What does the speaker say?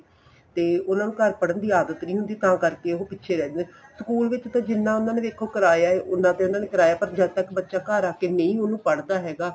ਤੇ ਉਹਨਾ ਨੂੰ ਘਰ ਪੜ੍ਹਣ ਦੀ ਆਦਤ ਨਹੀਂ ਹੁੰਦੀ ਤਾਂ ਕਰਕੇ ਉਹ ਪਿੱਛੇ ਰਹਿ ਜਾਂਦੇ school ਵਿੱਚ ਤਾਂ ਦੇਖੋ ਜਿੰਨਾ ਉਹਨਾ ਨੇ ਵੇਖੋ ਕਰਾਇਆ ਏ ਉੰਨਾ ਤੇ ਉਹਨਾ ਨੇ ਕਰਾਇਆ ਪਰ ਜਦ ਤੱਕ ਬੱਚਾ ਘਰ ਆ ਕੇ ਅਹਿਨ ਉਹਨੂੰ ਪੜ੍ਹਦਾ ਹੈਗਾ